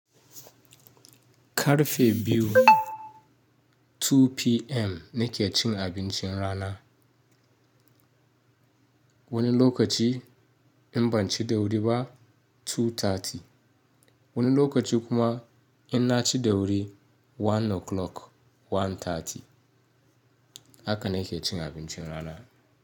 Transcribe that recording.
Karfe biyu 2:00 PM nake cin abincin rana. Wani lokaci in ban ci da wuri ba 2:30. Wani lokaci kuma in na ci da wuri 1 o'clock 1:30. Haka na ke cin abincin rana.